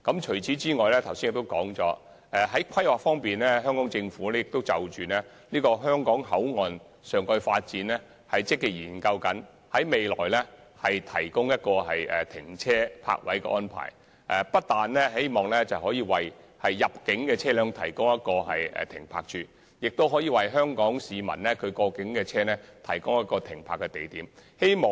此外，我剛才說過，在規劃方面，香港政府正積極研究香港口岸的上蓋發展，並考慮提供泊車位，不但可以為入境車輛提供停泊位，亦可以為香港市民的本地車輛提供停泊位。